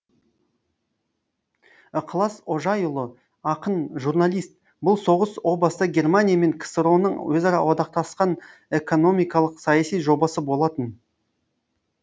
ықылас ожаи ұлы ақын журналист бұл соғыс о баста германия мен ксро ның өзара одақтасқан эканомикалық саяси жобасы болатын